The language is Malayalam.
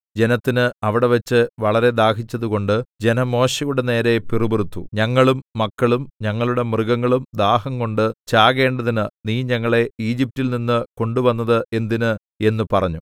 ജനത്തിന് അവിടെവച്ച് വളരെ ദാഹിച്ചതുകൊണ്ട് ജനം മോശെയുടെ നേരെ പിറുപിറുത്തു ഞങ്ങളും മക്കളും ഞങ്ങളുടെ മൃഗങ്ങളും ദാഹംകൊണ്ട് ചാകേണ്ടതിന് നീ ഞങ്ങളെ ഈജിപ്റ്റിൽ നിന്ന് കൊണ്ടുവന്നത് എന്തിന് എന്ന് പറഞ്ഞു